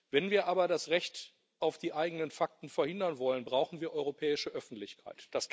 Wenn wir aber das Recht auf die eigenen Fakten verhindern wollen, brauchen wir europäische Öffentlichkeit.